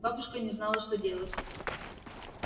бабушка не знала что делать